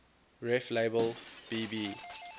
reflabel b b